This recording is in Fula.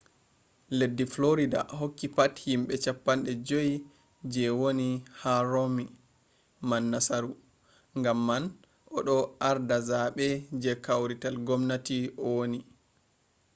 leddi florida hokki pat himɓe cappanɗe joi je woni be romni man nasaru gam man o ɗo arda zaɓe je kawrital gomnati o woni